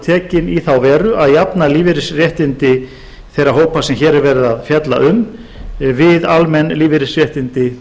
tekin í þá veru að jafna lífeyrisréttindi þeirra hópa sem hér er verið að fjalla um við almenn lífeyrisréttindi